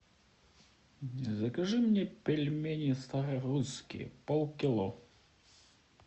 закажи мне пельмени старорусские полкило